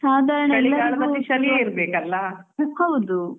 ಹೌದು